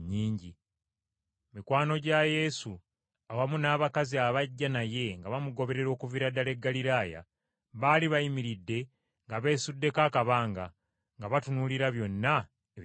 Mikwano gya Yesu, awamu n’abakazi abajja naye nga bamugoberera okuviira ddala e Ggaliraaya, baali bayimiridde nga beesuddeko akabanga, nga batunuulira byonna ebibaddewo.